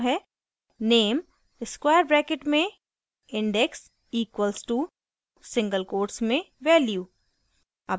name square brackets में index equals to single quotes में value